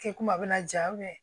Kɛ kuma bɛna ja